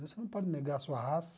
Você não pode negar a sua raça.